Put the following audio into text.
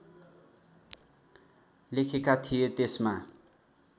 लेखेका थिए त्यसमा